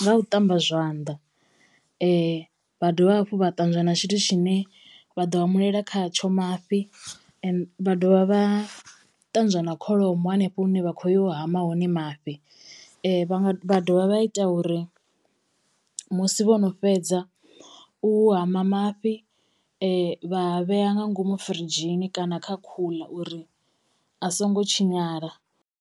nga u ṱamba zwanḓa vha dovha hafhu vha ṱanzwa na tshithu tshine vha ḓo hamulela kha tsho mafhi , vha dovha vha ṱanzwa na kholomo hanefho hune vha khoyo u hama hone mafhi, vha nga vha dovha vha ita uri musi vhono fhedza u hama mafhi vha a vhea nga ngomu firidzhini kana kha cooler uri a songo tshinyala.